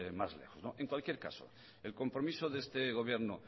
más lejos en cualquier caso el compromiso de este gobierno